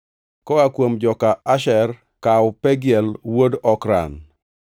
koa kuom joka Asher, kaw Pagiel wuod Okran;